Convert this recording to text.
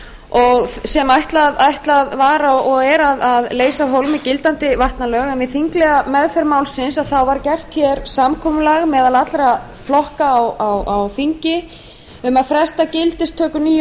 og er þeim ætlað að leysa af hólmi gildandi vatnalög við þinglega meðferð málsins varð samkomulag meðal allra flokka á þingi um að fresta gildistöku nýju